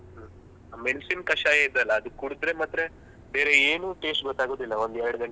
ಅ ಮೆಣಸಿನ ಕಷಾಯ ಇದೆ ಅಲ ಅದು ಕುಡ್ದ್ರೆ ಮತ್ತೆ ಬೇರೆ ಏನು taste ಗೊತ್ತಾಗುದಿಲ್ಲ ಒಂದ್ ಎರಡ್ ಗಂಟೆ.